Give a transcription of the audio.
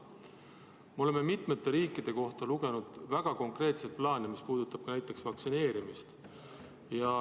Me oleme mitmete riikide kohta lugenud väga konkreetseid plaane, mis puudutab ka näiteks vaktsineerimist.